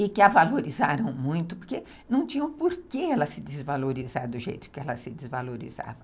e que a valorizaram muito, porque não tinham por que ela se desvalorizar do jeito que ela se desvalorizava.